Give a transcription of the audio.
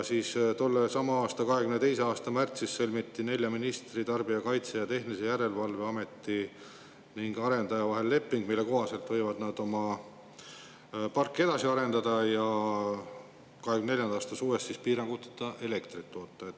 Tollesama 2022. aasta märtsis sõlmiti nelja ministri, Tarbijakaitse ja Tehnilise Järelevalve Ameti ning arendaja vahel leping, mille kohaselt võivad nad oma parki edasi arendada ja 2024. aasta suvest piiranguteta elektrit toota.